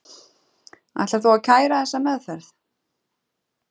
Ætlar þú að kæra þessa meðferð?